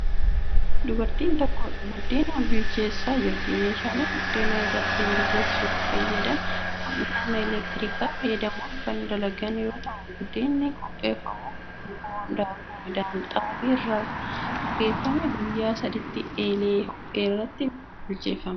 Dubartiin tokko ,buddena bilcheessaa jirti. Meeshaaleen buddeena irratti bilcheessuuf fayyadan kun humna elektirikaa fayyadamuun kan dalagan yoo ta'u, buddeenni qopheeffamuuf bukoon daakuu midhaan xaafii irraa bukeeffamee guyyaa saditti eelee ho'e irratti bilcheeffama.